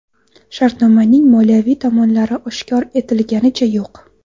Shartnomaning moliyaviy tomonlari oshkor etliganicha yo‘q.